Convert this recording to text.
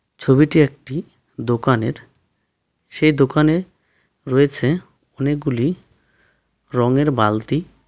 ছবিটি একটি দোকানের সে দোকানে রয়েছে অনেকগুলি রঙের বালতি।